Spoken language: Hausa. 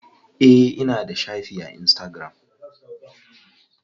Eh ina da shafi a insitagiram.